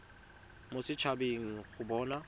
mo set habeng go bona